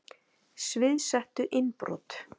Sviðsettu innbrot